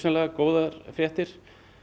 góðar fréttir